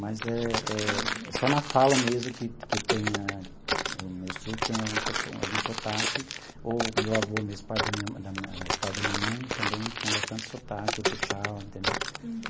Mas é é é só na fala mesmo que que tem a meus tio tem algum sotaque, ou meu avô mesmo, o pai da minha da minha pai da minha mãe também tinha bastante sotaque, puxava, entendeu?